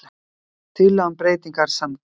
Tillaga um breytingar samþykkt